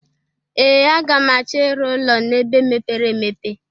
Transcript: Ee! Aga m achọ ịrụ ụlọ n'ebe mepere emepe.